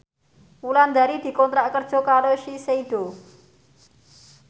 Wulandari dikontrak kerja karo Shiseido